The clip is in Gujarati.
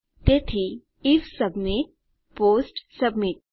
તેથી આઇએફ સબમિટ પોસ્ટ સબમિટ